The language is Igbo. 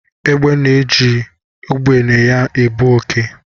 Egbe na-eji ugbene ya ebu oké.